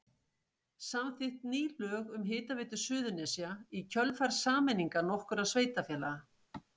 Samþykkt ný lög um Hitaveitu Suðurnesja í kjölfar sameiningar nokkurra sveitarfélaga.